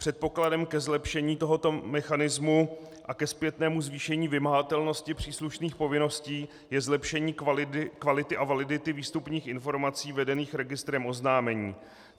Předpokladem ke zlepšení tohoto mechanismu a ke zpětnému zvýšení vymahatelnosti příslušných povinností je zlepšení kvality a validity výstupních informací vedených registrem oznámení.